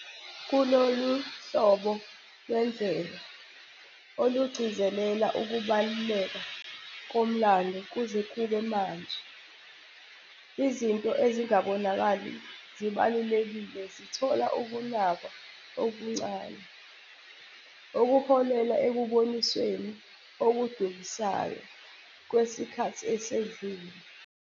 Kulolu hlobo lwendlela, olugcizelela ukubaluleka komlando kuze kube manje, izinto ezingabonakali zibalulekile zithola ukunakwa okuncane, okuholela ekubonisweni okudukisayo kwesikhathi esedlule.